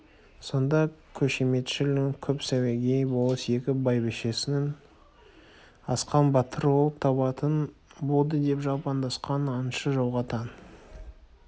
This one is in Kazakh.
сонда қошеметшіл көп сәуегей болыс-еке бәйбішеңіз асқан батыр ұл табатын болды деп жалпаңдасқан аңшы жолға таң